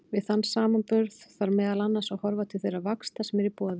Við þann samanburð þarf meðal annars að horfa til þeirra vaxta sem eru í boði.